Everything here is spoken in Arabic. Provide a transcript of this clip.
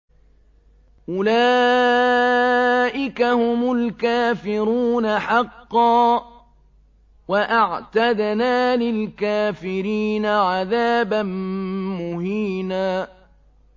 أُولَٰئِكَ هُمُ الْكَافِرُونَ حَقًّا ۚ وَأَعْتَدْنَا لِلْكَافِرِينَ عَذَابًا مُّهِينًا